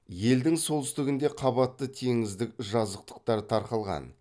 елдің солтүстігінде қабатты теңіздік жазықтықтар тарқалған